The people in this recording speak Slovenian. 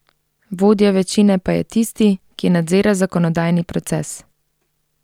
Vodja večine pa je tisti, ki nadzira zakonodajni proces.